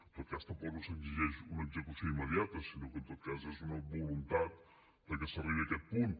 en tot cas tampoc no s’exigeix una execució immediata sinó que en tot cas és una voluntat que s’arribi a aquest punt